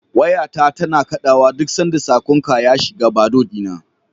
Wayata tana kaɗawa duk sanda saƙonka ya shiga Bado ɗina.